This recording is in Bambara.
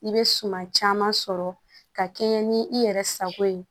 I bɛ suma caman sɔrɔ ka kɛɲɛ ni i yɛrɛ sago ye